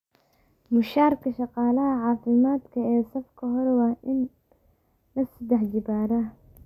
Mushaharka shaqaalaha caafimaadka ee safka hore waa in la saddex jibaaraa.